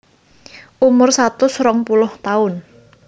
Umur satus rong puluh taun